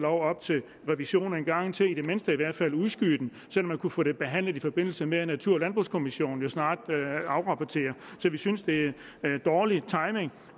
op til revision en gang til i det mindste i hvert fald udskyde så man kunne få det behandlet i forbindelse med at natur og landbrugskommissionen snart afrapporterer så vi synes det er dårlig timing